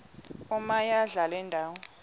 omaye adlale indawo